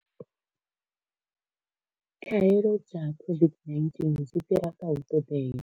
Khaelo dza COVID-19 dzi fhira kha u ṱoḓea.